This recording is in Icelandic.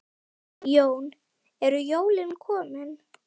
Jón: Eru jólin komin?